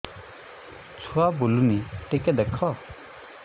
ଛୁଆ ବୁଲୁନି ଟିକେ ଦେଖ